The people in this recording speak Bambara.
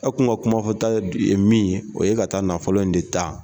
E kuma kuma fɔ ta ye min ye o ye ka taa nafolo in de tan.